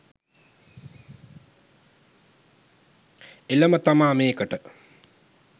එළම තමා මේකට